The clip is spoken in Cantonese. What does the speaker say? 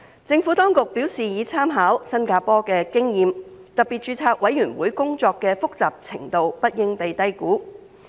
政府當局表示已參考新加坡的經驗，特別註冊委員會工作的複雜程度不應被低估。